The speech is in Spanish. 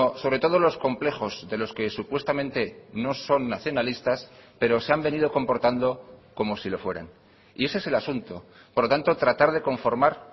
sobre todo los complejos de los que supuestamente no son nacionalistas pero se han venido comportando como si lo fueran y ese es el asunto por lo tanto tratar de conformar